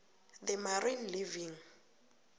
the marine living